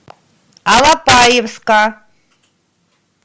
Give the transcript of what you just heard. алапаевска